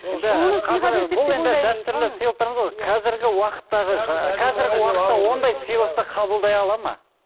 бұл енді дәстүрлі сыйлықтарымыз ғой қазіргі уақыттағы ондай сыйлықты қабылдай алады ма